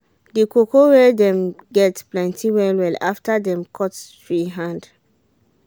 the cocoa wey dem get plenty well well after dem cut tree hand